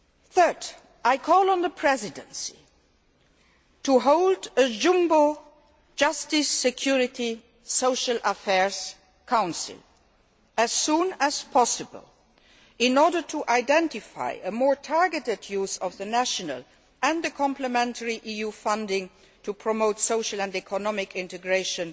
Thirdly, I am calling on the Presidency to hold a jumbo JHA, Security and Social Affairs Council as soon as possible in order to identify a more targeted use of national and complementary EU funding to promote social and economic integration